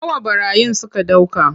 Nawa ɓarayin suka ɗauka.